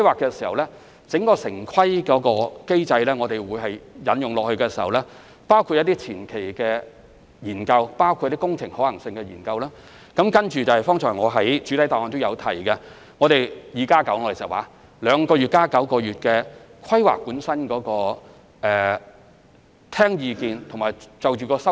在城市規劃機制下，當局會進行若干前期研究及工程可行性研究，然後正如我剛才在主體答覆所說，展示相關圖則兩個月，並在其後9個月就規劃進一步聽取意見和作出修訂。